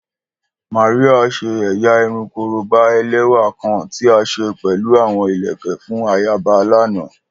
Maria ṣe ẹ́yá irun koroba ẹlẹwa kan ti a ṣe pẹlu awọn ilẹkẹ fun ayaba lana.